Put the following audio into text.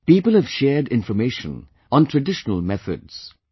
People have shared information on traditional methods